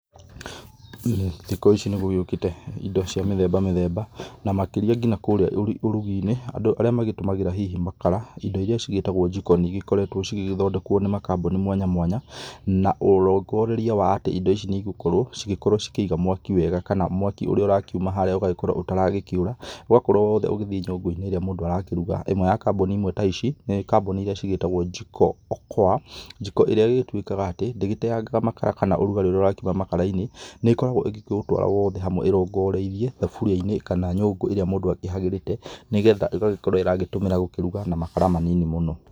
Thikũ ici nĩgũgĩũkĩte indo cia mĩthemba mĩthemba na makĩria nginya kũrĩa ũruginĩ. Andũ arĩa matũmagĩra hihi makara indo iria cigĩtagwo jiko nĩcikoretwo igĩthondekwo nĩ makambũni mwanya mwanya na ũrongoreria wa atĩ indo ici nĩigũkorwo cigĩkorwo cikĩiga mwaki wega, kana mwaki ũrĩa ũrakiuma harĩa ũgagĩkorwo ũtaragĩkĩũra ũgagĩkorwo wothe ũgĩthiĩ jikoinĩ ĩrĩa mũndũ arakĩruga. ĩmwe ya kamboni ta ici nĩ kamboni iria cigĩtagwo jiko okoa, jiko ĩrĩa ĩgĩtuĩkaga atĩ ndĩteyangaga makara kana ũrugarĩ ũrĩa ũrakiuma makarainĩ. Nĩkoragwo ĩkĩũtwara wothe hamwe ĩrongoreirie thaburiainĩ kana nyũngũ ĩrĩa mũndũ akĩhagĩrĩte nĩgetha ĩgagĩkorwo ĩgĩtũmĩra gũkĩruga na makara manini mũno.